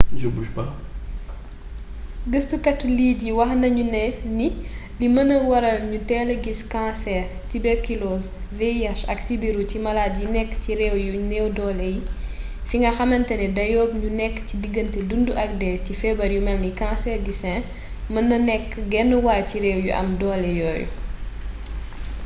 gëstukati lead yi wax nañu ni lii mën naa waral ñu teel gis kaanseer tiberkilooz vih ak sibiru ci malaat yi nekk ci réew yu neew doole yi fi nga xamatane dayoob ñu nekk ci digante dundu ak dee ci feebar yu melni kanseer di sin mën na nekk genwàll ci réew yu am doole yooyu